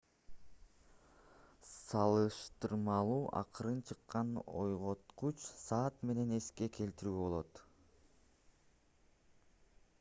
салыштырмалуу акырын чыккан ойготкуч саат менен эске келтирүүгө болот